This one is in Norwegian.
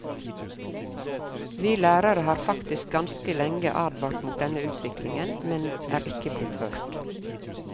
Vi lærere har faktisk ganske lenge advart mot denne utviklingen, men er ikke blitt hørt.